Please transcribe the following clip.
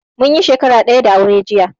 Munyi shakara daya da aure jiya